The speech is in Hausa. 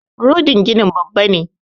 Rodin ginin Babba ne